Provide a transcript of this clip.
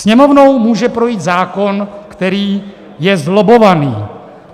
Sněmovnou může projít zákon, který je zlobbovaný.